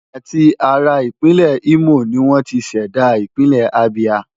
Àti ara Ìpínlẹ̀ Imo ni wọ́n ti ṣẹ̀dá Ìpínlẹ̀ Abia.